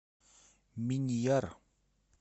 миньяр